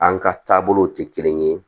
An ka taabolow tɛ kelen ye